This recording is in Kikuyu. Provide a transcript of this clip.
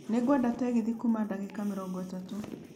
Nĩ ngwenda tegithi kuuma ndagĩka mĩrongo ĩtatũ